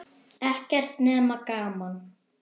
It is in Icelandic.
Ekkert nema gaman!